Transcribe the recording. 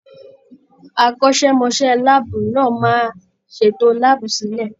Akọ́ṣẹ́mọṣẹ́ láàbù náà máa ṣètò láàbù sílẹ̀.